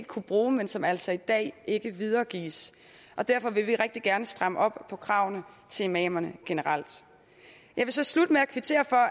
kunne bruge men som altså i dag ikke videregives derfor vil vi rigtig gerne stramme op på kravene til imamerne generelt jeg vil så slutte med at kvittere for